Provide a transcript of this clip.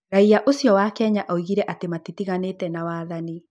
Raia ucio wa Kenya ogire ati matitigannite na wathani